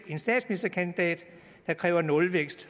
en statsministerkandidat der kræver nulvækst